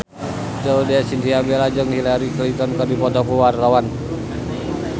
Laudya Chintya Bella jeung Hillary Clinton keur dipoto ku wartawan